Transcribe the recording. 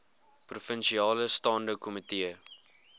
provinsiale staande komitee